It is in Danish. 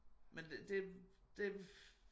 Men det det